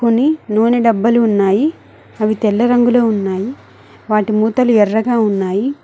కొన్ని నూనె డబ్బాలు ఉన్నాయి అవి తెల్ల రంగులో ఉన్నాయి వాటి మూతలు ఎర్రగా ఉన్నాయి.